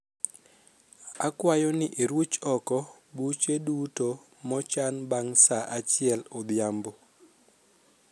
akwayo ni iruch oko buche duto mochan bang saa achiel odhiambo